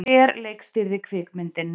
Hver leikstýrði kvikmyndinni?